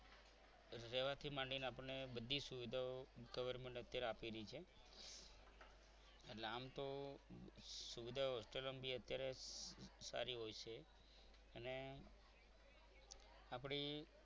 રહેવાથી માંડીને આપણને બધી સુવિધાઓ government અત્યારે આપી રહી છે એટલે આમ તો સુવિધાઓ hostel માં પણ અત્યારે સારી હોય છે અન આપણી